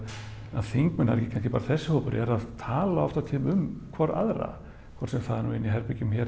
að þingmenn það er ekki kannski bara þessi hópur eru að tala oft á tíðum um hvor aðra hvort sem það er í herbergjum hér